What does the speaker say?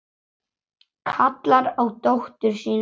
Kallar á dóttur sína inn.